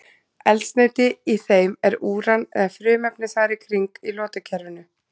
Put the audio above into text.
Eldsneyti í þeim er úran eða frumefni þar í kring í lotukerfinu.